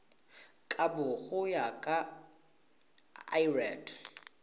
kabo go ya ka lrad